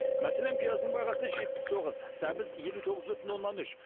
мәселен пияздың бағасы жетпіс тоғыз сәбіз елу тоғыз бүтін оннан үш